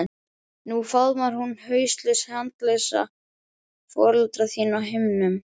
Nú faðmar hún hauslaus handalausa foreldra þína á himnum.